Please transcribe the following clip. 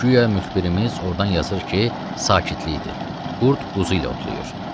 Guya müxbirimiz ordan yazır ki, sakitlikdir, qurd quzu ilə otlayır.